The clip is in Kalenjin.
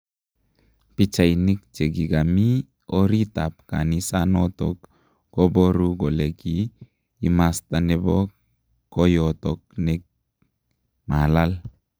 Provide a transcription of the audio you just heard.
Pichainik chegamii orrit ap kanisanotok koboru kole kii imasta nepo koyotok ne malal.